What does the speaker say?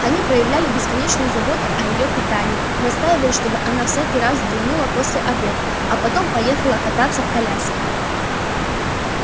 они проявляли бесконечную заботу о её питании настаивали чтобы она всякий раз вздремнула после обеда а потом поехала покататься в коляске